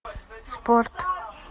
спорт